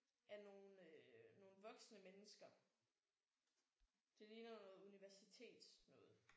Af nogle nogle voksne mennesker. Det ligner noget universitetsnoget